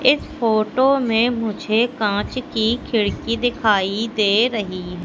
इस फोटो में मुझे कांच की खिड़की दिखाई दे रही--